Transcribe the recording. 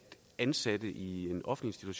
ansatte i en offentlige